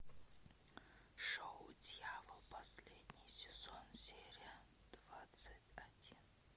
шоу дьявол последний сезон серия двадцать один